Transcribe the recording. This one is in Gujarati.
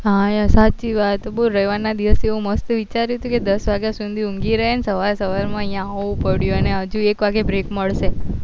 હા યાર સાચી વાત બોલ રવિવાર માં દિવસે એ મસ્ત વિચારું હતું ક દસ વાગ્યા સુધી ઊંગી રહે અને સવાર સવાર માં અહિયાં આવવું પડ્યું અને હજુ એક વાગે break મળશે